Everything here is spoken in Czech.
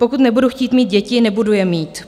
Pokud nebudu chtít mít děti, nebudu je mít.